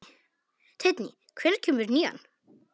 Teitný, hvenær kemur nían?